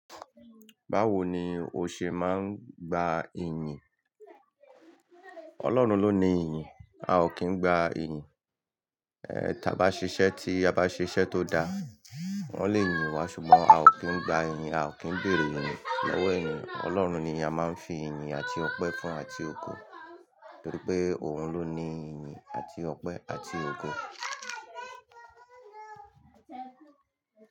Báwo ni o ṣe máa ń gba iyin? Ọlọ́run ló ní iyin, a ò kí ń gba iyin. Eh, tí a bá ṣe iṣẹ́ tí a bá ṣe iṣẹ́ tó da, wọ́n lè yin wá ṣùgbọ́n a ò kí ń gba iyin, a ò kí ń béèrè iyin lọwọ èèyàn. Ọlọ́run ni a máa ń fi iyin àti ọpẹ́ fún àti ògo nítorí pé òun ló ní iyin àti ọpẹ́ àti ògo.